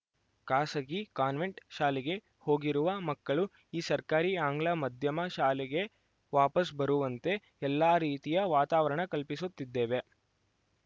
ಖಾಸಗಿ ಕಾನ್ವೆಂಟ್‌ ಶಾಲೆಗೆ ಹೋಗಿರುವ ಮಕ್ಕಳು ಈ ಸರ್ಕಾರಿ ಆಂಗ್ಲ ಮಾಧ್ಯಮ ಶಾಲೆಗೆ ವಾಪಸ್‌ ಬರುವಂತೆ ಎಲ್ಲ ರೀತಿಯ ವಾತಾವರಣ ಕಲ್ಪಿಸುತ್ತಿದ್ದೇವೆ